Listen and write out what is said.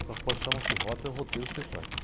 O carro forte chama-se rota, e o roteiro você faz.